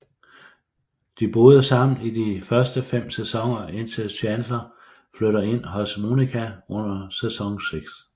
De boede sammen i de første 5 sæsoner indtil Chandler flytter ind hos Monica under sæson 6